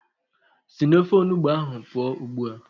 Sị n'ofe onugbu ahụ pụọ ugbu a!